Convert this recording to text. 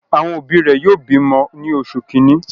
Àwọn òbí rẹ̀ yóò bi ọmọ ní oṣù kìíní.